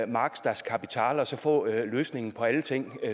marx das kapital og så få løsningen på alle ting